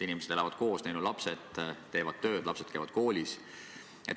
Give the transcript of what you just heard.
Inimesed elavad koos, neil on lapsed, nad teevad tööd, lapsed käivad koolis.